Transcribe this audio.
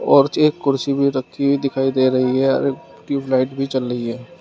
औरत एक कुर्सी भी रखी हुई दिखाई दे रही है अरे ट्यूबलाइट भी जल रही है।